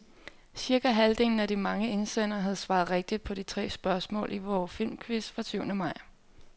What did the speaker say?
Cirka halvdelen af de mange indsendere havde svaret rigtigt på de tre spørgsmål i vor filmquiz fra syvende maj.